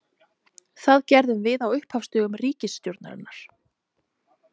Það gerðum við á upphafsdögum ríkisstjórnarinnar.